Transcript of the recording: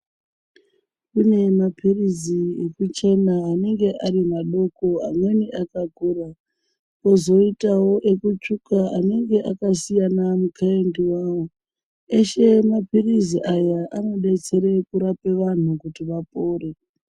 Kunemaphirisi ekuchena anenge arimadoko amweni akakura. Kozoitawo ekutsvuka anenge akasiyana ne wawo. Eshe maphirizi aya anobetsere kurape vanhu kuti vapore.